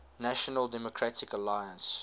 national democratic alliance